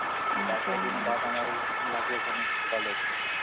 পাঁচ ছদিন Hindi আমারও লাগবে এখানে college.